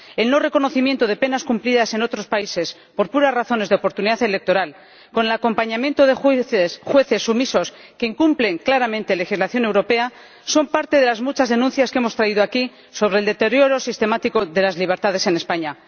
el no reconocimiento de penas cumplidas en otros países, por puras razones de oportunidad electoral, con el acompañamiento de jueces sumisos, que incumplen claramente la legislación europea, son parte de las muchas denuncias que hemos traído aquí sobre el deterioro sistemático de las libertades en España.